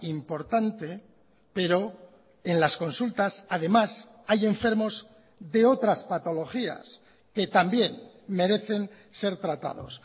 importante pero en las consultas además hay enfermos de otras patologías que también merecen ser tratados